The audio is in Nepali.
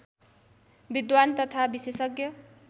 विद्वान तथा विशेषज्ञ